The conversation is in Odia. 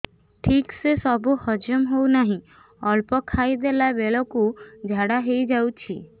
ଠିକସେ ସବୁ ହଜମ ହଉନାହିଁ ଅଳ୍ପ ଖାଇ ଦେଲା ବେଳ କୁ ଝାଡା ହେଇଯାଉଛି